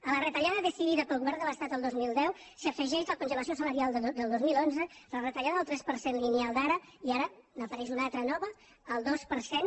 a la retallada decidida pel govern de l’estat el dos mil deu s’afegeix la congelació salarial del dos mil onze la retallada del tres per cent lineal d’ara i ara n’apareix una altra de nova el dos per cent